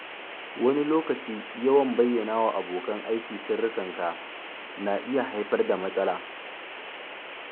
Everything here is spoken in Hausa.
Wani lokaci, yawan bayyanawa abokan aiki sirrinka na iya haifar da matsala.